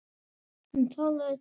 Hann talaði til mín.